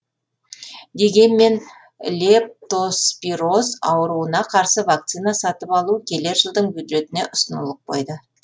дегенмен лептоспироз ауруына қарсы вакцина сатып алу келер жылдың бюджетіне ұсынылып қойды